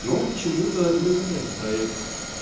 но почему-то именно этот проект